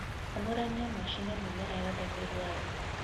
Amũrania na ũcine mĩmera yothe mĩrũar